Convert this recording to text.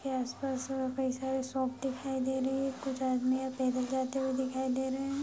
के आस-पास कई सारे शॉप दिखाई दे रही है कुछ आदमी पैदल जाते हुए दिखाई दे रहे हैं।